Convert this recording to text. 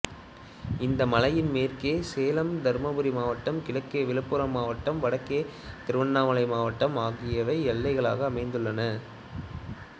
இந்த மலையின் மேற்கே சேலம் தருமபுரி மாவட்டம் கிழக்கே விழுப்புரம் மாவட்டம் வடக்கே திருவண்ணாமலை மாவட்டம் ஆகியவை எல்லைகளாக அமைந்துள்ளன